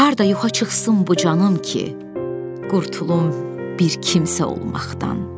Harda yuxa çıxsın bu canım ki, qurtulum bir kimsə olmaqdan.